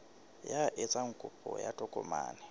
ya etsang kopo ya tokomane